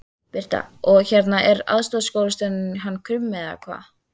Birta: Og hérna er aðstoðarskólastjórinn hann Krummi eða hvað?